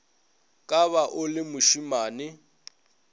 ka ba o le mošimane